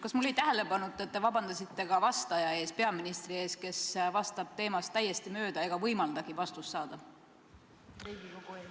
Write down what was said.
Kas mul jäi tähele panemata, et te palusite vabandust vastajalt, peaministrilt, kes vastab teemast täiesti mööda ega võimaldagi Riigikogul vastust saada?